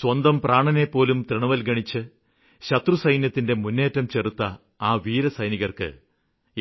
സ്വന്തം പ്രാണനെപ്പോലും തൃണവല്ഗണിച്ച് ശത്രുസൈന്യത്തിന്റെ മുന്നേറ്റം ചെറുത്ത ആ വീരസൈനികര്ക്ക്